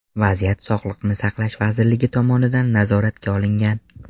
Vaziyat Sog‘liqni saqlash vazirligi tomonidan nazoratga olingan.